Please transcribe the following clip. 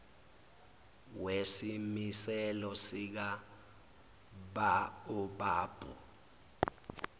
wesimiselo sika baobab